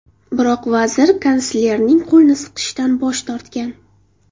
Biroq vazir kanslerning qo‘lini siqishdan bosh tortgan.